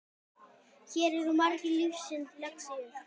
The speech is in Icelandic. Hér eru margar lífsins lexíur.